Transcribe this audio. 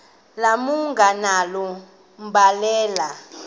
malunga nalo mbandela